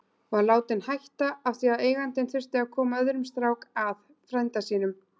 Var látinn hætta af því að eigandinn þurfti að koma öðrum strák að, frænda sínum.